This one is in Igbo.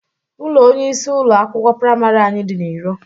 Ụlọ onyeisi ụlọ akwụkwọ praimarị anyị dị na iro.